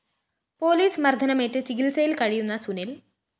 police മര്‍ദ്ദനമേറ്റ് ചികിത്സയില്‍ കഴിയുന്ന സുനില്‍